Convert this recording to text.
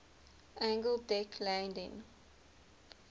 angled deck landing